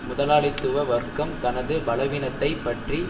முதலாளித்துவ வர்க்கம் தனது பலவீனத்தை பற்றி